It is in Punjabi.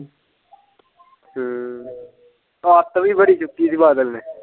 ਹਮ ਅੱਤ ਵੀ ਬੜੀ ਚੁੱਕੀ ਦੀ ਬਾਦਲ ਨੇ।